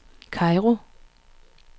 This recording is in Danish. Kairo